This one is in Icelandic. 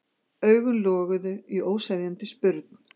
Augun loguðu í óseðjandi spurn.